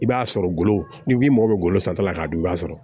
I b'a sɔrɔ ngolo n'i mago bɛ golo san ta la k'a dun i b'a sɔrɔ